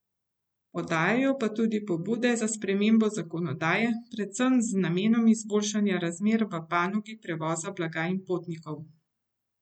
Podajajo pa tudi pobude za spremembo zakonodaje, predvsem z namenom izboljšanja razmer v panogi prevoza blaga in potnikov.